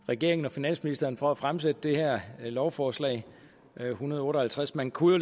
regeringen og finansministeren for at fremsætte det her lovforslag l en hundrede og otte og halvtreds man kunne